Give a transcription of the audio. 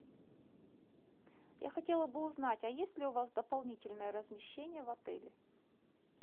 я хотела бы узнать а есть ли у вас дополнительное размещение в отеле